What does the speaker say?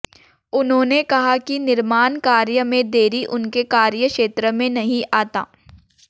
उन्होंने कहा कि निमार्णकार्य में देरी उनके कार्य क्षेत्र में नहीं आता